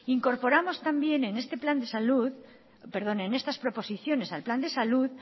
incorporamos también en estas proposiciones al plan de salud